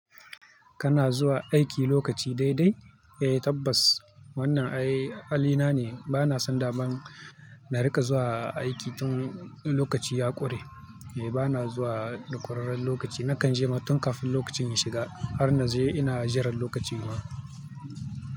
Kana zuwa aiki lokaci dai dai? Eh tabbas wannan ai halina ne, bana son da man na riƙa zuwa aiki tun lokaci ya ƙure. Eh bana zuwa da ƙurarren lokaci. Nakan je ma tun kafin lokacin ya shiga har na je ina jira lokacin ma.